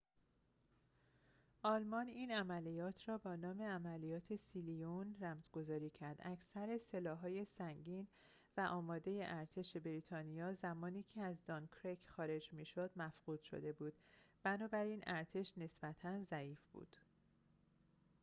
آلمان این عملیات را با نام عملیات سیلیون رمزگذاری کرد اکثر سلاح‌های سنگین و آماد ارتش بریتانیا زمانی که از دانکرک خارج می‌شد مفقود شده بود بنابراین ارتش نسبتاً ضعیف بود